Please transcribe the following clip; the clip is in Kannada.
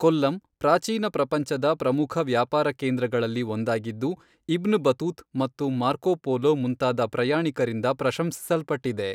ಕೊಲ್ಲಂ, ಪ್ರಾಚೀನ ಪ್ರಪಂಚದ ಪ್ರಮುಖ ವ್ಯಾಪಾರ ಕೇಂದ್ರಗಳಲ್ಲಿ ಒಂದಾಗಿದ್ದು, ಇಬ್ನ್ ಬತೂತ್ ಮತ್ತು ಮಾರ್ಕೊ ಪೊಲೊ ಮುಂತಾದ ಪ್ರಯಾಣಿಕರಿಂದ ಪ್ರಶಂಸಿಸಲ್ಪಟ್ಟಿದೆ.